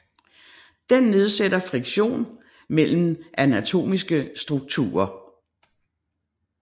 Den nedsætter friktion mellem anatomiske strukturer